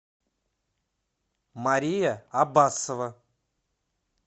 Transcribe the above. мария аббасова